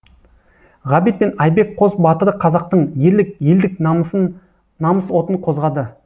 ғабит пен айбек қос батыры қазақтың ерлік елдік намыс отын қозғады